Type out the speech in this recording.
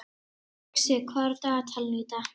Uxi, hvað er á dagatalinu í dag?